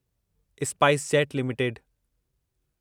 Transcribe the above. SpiceJet limited